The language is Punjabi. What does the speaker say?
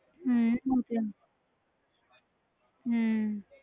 ਹਮ ਉਹ ਤੇ ਹੈ ਹਮ